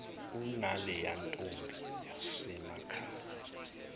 unaleya ntombi yasemakhaya